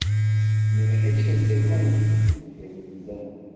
"Meni hech kim sevmaydi" deganingizda ham.